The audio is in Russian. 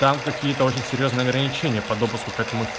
там какие-то очень серьёзные ограничения по допуску к этому